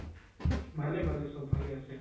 ভালে ভালে চব ভালে আছে